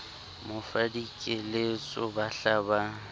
mo fa dikeletso bahla ba